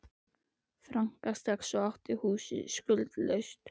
franka strax og átt húsið skuldlaust.